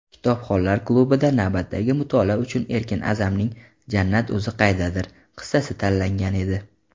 "Kitobxonlar klubi"da navbatdagi mutolaa uchun Erkin A’zamning "Jannat o‘zi qaydadir" qissasi tanlangan edi.